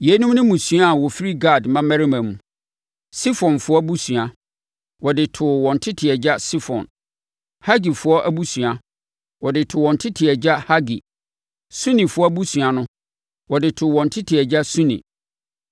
Yeinom ne mmusua a wɔfiri Gad mmammarima mu: Sefonfoɔ abusua, wɔde too wɔn tete agya Sefon; Hagifoɔ abusua, wɔde too wɔn tete agya Hagi. Sunifoɔ abusua no, wɔde too wɔn tete agya Suni.